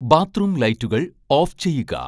bathroom ലൈറ്റുകൾ off ചെയ്യുക